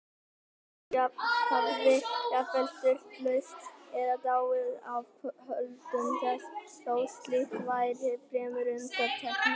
Fólk hafði jafnvel sturlast eða dáið af völdum þess, þó slíkt væri fremur undantekning.